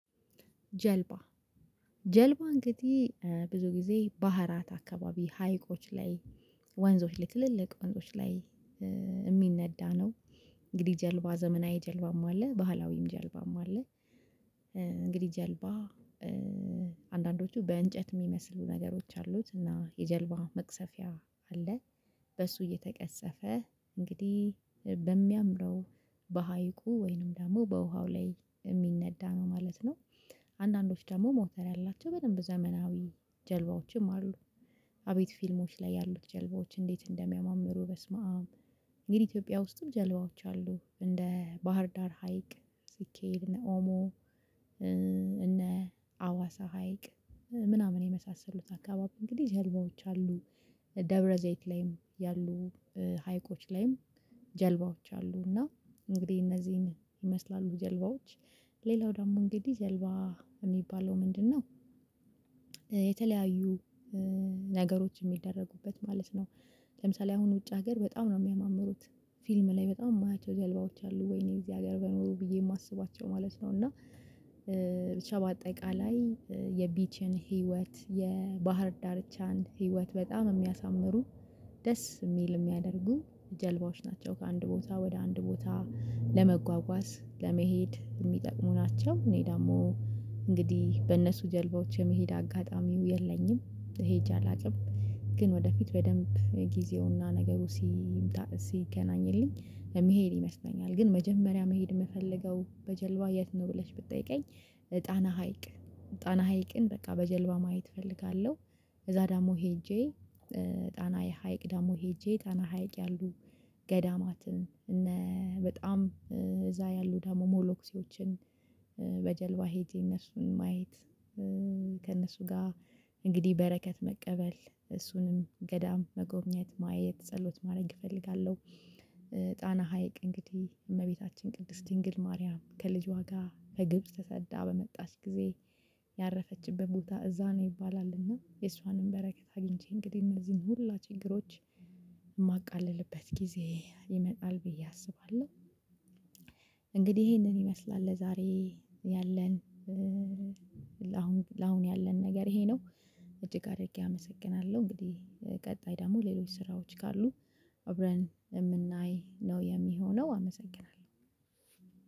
ጀልባ ጀልባ እንግዲህ ብዙ ጊዜ ባህራት አካባቢ ሀይቆች ላይ ወንዞች ላይ ትልልቅ ወንዞች ላይ የሚነዳ ነው። እንግዲህ ጀልባ ዘመናዊ ጀልባም አለ ባህላዊም ጀልባም አለ። እንግዲህ ጀልባ አንዳንዶቹ በእንጨት የሚመስሉ ነገሮች አሉት እና የጀልባ መቅሰፊያ አለ። በሱ እየተቀሰፈ እንግዲህ በሚያምረው በሀይቁ ወይንም ደግሞ በውሃው ላይ የሚነዳ ነው ማለት ነው። አንዳንዶች ደግሞ ሞተር ያላቸው በደንብ ዘመናዊ ጀልባዎችም አሉ። አቤት ፊልሞች ላይ ያሉት ጀልባዎች እንዴት እንደሚያማምሩ በስመአብ። እንግዲህ ኢትዮጵያ ውስጥም ጀልባዎች አሉ እንደ ባህር ዳር ሀይቅ ሲኬድ እና ኦሞ እነ አዋሳ ሀይቅ ምናምን የመሳሰሉት አካባቢ እንግዲህ ህልሞች አሉ። ደብረዘይት ላይም ያሉ ሀይቆች ላይም ጀልባዎች አሉ። እና እንግዲህ እነዚህን ይመስላሉ ጀልባዎች ሌላው ደግሞ እንግዲህ ጀልባ የሚባለው ምንድነው? የተለያዩ ነገሮች የሚደረጉበት ማለት ነው። ለምሳሌ አሁን ውጭ ሀገር በጣም ነው የሚያማምሩት ፊልም ላይ በጣም የማያቸው ጀልባዎች አሉ ወይኔ እዚህ ሀገር በኖሩ ብዬ የማስባቸው ማለት ነው። እና ብቻ በአጠቃላይ የብቸኝነት ህይወት የባህር ዳርቻን ህይወት በጣም የሚያሳምሩ ደስ የሚል የሚያደርጉ ጀልባዎች ናቸው። ከአንድ ቦታ ወደ አንድ ቦታ ለመጓጓዝ ለመሄድ የሚጠቅሙ ናቸው። እኔ ደግሞ እንግዲህ በእነሱ ጀልባዎች የመሄድ አጋጣሚው የለኝም ሄጄ አላውቅም። ግን ወደፊት በደንብ ጊዜውና ነገሩ ሲገናኝልኝ ለመሄድ ይመስለኛል። ግን መጀመሪያ መሄድ የምፈልገው በጀልባ የት ነው ብለሽ ብትጠይቀኝ? ጣና ሀይቅ ጣና ሀይቅን በቃ በጀልባ ማየት እፈልጋለሁ። እዛ ደግሞ ሄጄ ጣና የሀይቅ ደግሞ ሄጄ ጣና ሀይቅ ያሉ ገዳማትን እና በጣም እዛ ያሉ ደግሞ መነኩሴዎችን በጀልባ ሄጄ እነሱን ማየት። ከእነሱ ጋር እንግዲህ በረከት መቀበል እሱንም ገዳም መጎብኘት ማየት ጸሎት ማድረግ እፈልጋለሁ። ጣና ሀይቅ እንግዲህ እመቤታችን ቅድስት ድንግል ማርያም ከልጅ ዋጋ ከግብጽ ተሰዳ በመጣች ጊዜ ያረፈችበት ቦታ እዛ ነው ይባላልና የሷንም በረከት አግኝቼ እንግዲህ መልስም ሁላ ችግሮች የማቃልልበት ጊዜ ይመጣል ብዬ አስባለሁ። እንግዲህ ይሄንን ይመስላል ለዛሬ ያለን ለአሁን ለአሁን ያለን ነገር ይሄ ነው። እጅግ አድርጌ አመሰግናለሁ እንግዲህ ቀጣይ ደግሞ ሌሎች ስራዎች ካሉ አብረን የምናይ ነው የሚሆነው አመሰግናለሁ።